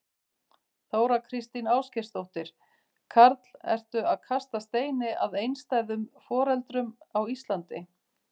Þóra Kristín Ásgeirsdóttir: Karl, ertu að kasta steini að einstæðum foreldrum á Íslandi?